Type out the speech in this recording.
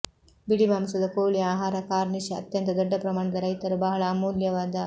ಬಿಳಿ ಮಾಂಸದ ಕೋಳಿ ಆಹಾರ ಕಾರ್ನಿಷ್ ಅತ್ಯಂತ ದೊಡ್ಡ ಪ್ರಮಾಣದ ರೈತರು ಬಹಳ ಅಮೂಲ್ಯವಾದ